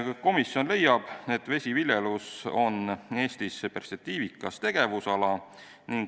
Komisjon leiab, et vesiviljelus on Eestis perspektiivikas tegevusala.